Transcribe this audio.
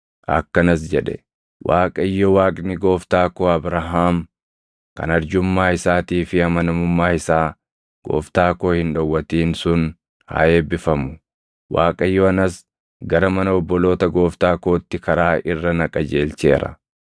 akkanas jedhe; “ Waaqayyo Waaqni gooftaa koo Abrahaam kan arjummaa isaatii fi amanamummaa isaa gooftaa koo hin dhowwatin sun haa eebbifamu. Waaqayyo anas gara mana obboloota gooftaa kootti karaa irra na qajeelcheera.”